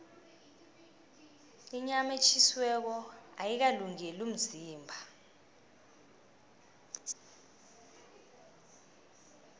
inyama etjhisiweko ayikalungeli umzimba